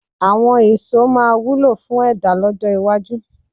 Àwọn èso sì máa wúlò fún ẹ̀dá lọ́jọ́ iwájú.